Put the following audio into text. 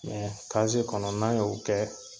kaziye kɔnɔ n'an y'o kɛ